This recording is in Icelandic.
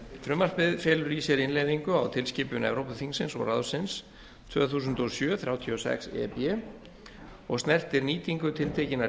frumvarpið felur í sér innleiðingu á tilskipun evrópuþingsins og ráðsins tvö þúsund og sjö þrjátíu og sex e b og snertir nýtingu tiltekinna